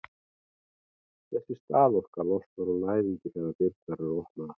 þessi staðorka losnar úr læðingi þegar dyrnar eru opnaðar